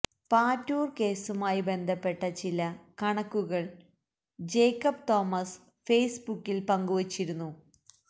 പാറ്റൂര് കേസുമായി ബന്ധപ്പെട്ട ചില കണക്കുകള് ജേക്കബ് തോമസ് ഫേസ്ബുക്കില് പങ്കുവെച്ചിരുന്നു